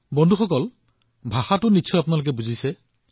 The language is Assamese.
বন্ধুসকল আপোনালোকে নিশ্চয় ভাষাটো বুজি পাইছে